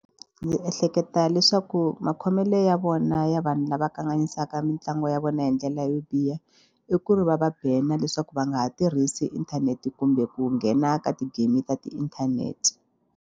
Ni ehleketa leswaku makhomelo ya vona ya vanhu lava kanganyisaka mitlangu ya vona hi ndlela yo biha i ku ri va va banner leswaku va nga ha tirhisi inthanete kumbe ku nghena ka ti-game ta tiinthanete.